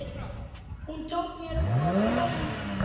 Hún tók mér opnum örmum.